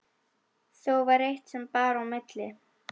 Þó var eitt sem bar á milli.